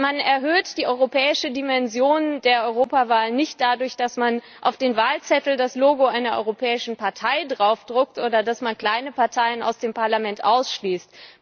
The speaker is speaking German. Man erhöht die europäische Dimension der Europawahl nicht dadurch, dass man auf den Wahlzettel das Logo einer europäischen Partei aufdruckt oder dass man kleine Parteien aus dem Parlament ausschließt.